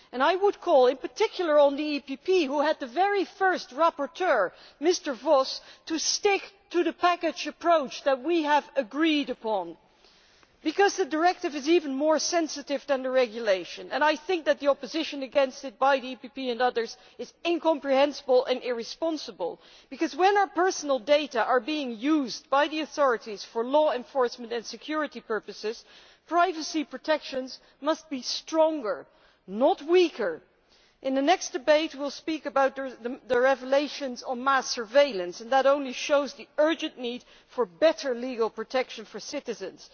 I would call, in particular, on the PPE, who had the very first rapporteur, Mr Voss, to stick to the package approach which we have agreed upon, because the directive is even more sensitive than the regulation, and the opposition against it from the PPE and others is incomprehensible and irresponsible, because when our personal data are being used by the authorities for law enforcement and security purposes, privacy protections must be stronger, not weaker. In the next debate we will speak about the revelations on mass surveillance, which only go to show the urgent need for better legal protection for citizens.